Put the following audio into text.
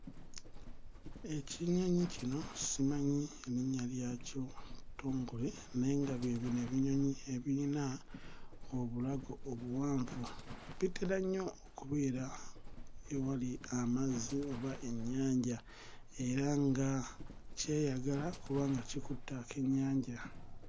Ekinyonyi kino simanyi linnya lyakyo ttongole naye nga bye bino ebinyonyi ebiyina obulago obuwanvu bitera nnyo okubeera ewali amazzi oba ennyanja era nga kyeyagala kubanga kikutte akennyanja.